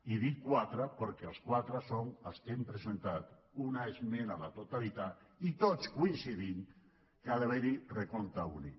i dic quatre perquè els quatre som els que hem presentat una esmena a la totalitat i tots coincidim que ha d’haver hi recompte únic